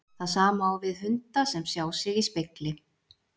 Það sama á við hunda sem sjá sig í spegli.